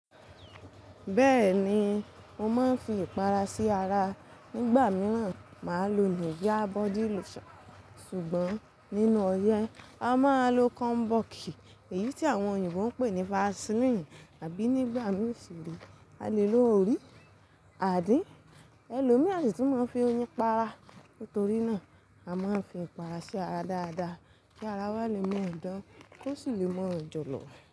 Bẹ́ẹ̀ni, mo máa ń fi ìpara sí ara. Nígbà mìíràn, màá lò Nivea body lotion ṣùgbọ́n nínú oyẹ́, a máa ń lo komboki èyí tí àwọn oyìnbó ń pè ní Vaseline. Àbí nígbà mìíràn sì re a lè lo orí, adín. Ẹlòmí a sì tún máa ń fi oyin para. Nítorí náà, a máa ń fi ìpara sí ara dáadáa kí ara wa lè mọ́ idán kó sì lè mọ́ ìjọ̀lọ̀.